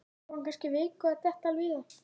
Það tók hann kannski viku að detta alveg í það.